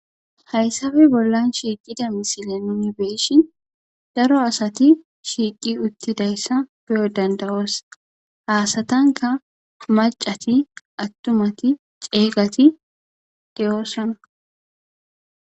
Hayssabe bollan shiiqida misile nuni beeshin daro asati shiiqi uttidayssa beyo dandawoos haasatanka macati attumati ceegati deyoossana.